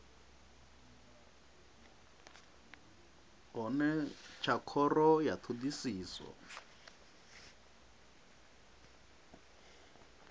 hone tsha khoro ya thodisiso